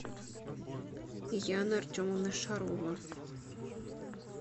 яна артемовна шарова